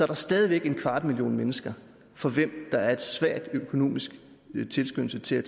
der stadig væk en kvart million mennesker for hvem der er en svag økonomisk tilskyndelse til at